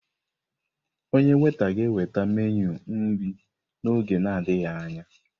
Onye weta ga-eweta meenụ nri n'oge na adịghị anya.